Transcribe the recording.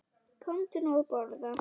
Komdu nú að borða